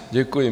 Děkuji.